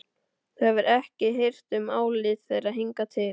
Þú hefur ekki hirt um álit þeirra hingað til.